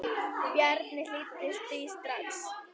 Bjarni hlýddi því strax.